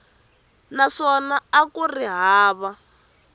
naswona a ku ri hava